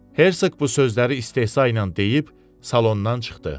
Hersoq bu sözləri istehsa ilə deyib salondan çıxdı.